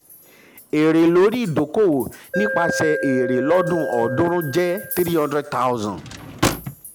èrè um lórí owó ìdókòwò nípasẹ̀ èrè lọ́dún ọ̀ọ́dúnrún jẹ́ three hundred thousand